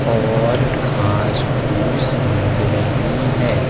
और घास फूस लग रही है।